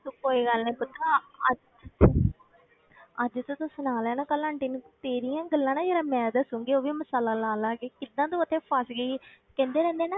ਤੂੰ ਕੋਈ ਗੱਲ ਨੀ ਪੁੱਤਰਾ ਅੱਜ ਅੱਜ ਤੇ ਤੂੰ ਸੁਣਾ ਲਿਆ ਨਾ ਕੱਲ੍ਹ ਆਂਟੀ ਨੂੰ ਤੇਰੀਆਂ ਹੀ ਗੱਲਾਂ ਨਾ ਜ਼ਰਾ ਮੈਂ ਦੱਸਾਂਗੀ, ਉਹ ਵੀ ਮਸਾਲਾ ਲਾ ਲਾ ਕੇ ਕਿੱਦਾਂ ਤੂੰ ਉੱਥੇ ਫਸ ਗਈ ਕਹਿੰਦੇ ਰਹਿੰਦੇ ਆ ਨਾ